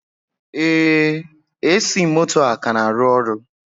Ee, AC moto a ka na-arụ ọrụ.